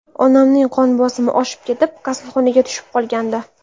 Onamning qon bosimi oshib ketib kasalxonaga tushib qolgandi.